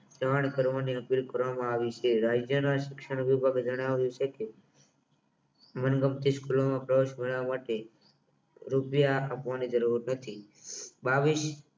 ત્રણ ક્રમને કરવામાં આવી છે રાજ્યના શિક્ષણ વિભાગે જણાવ્યું છે કે મનગમતી સ્કૂલમાં પ્રવેશ મેળવવા માટે રૂપિયા આપવાની જરૂર નથી બાવિસ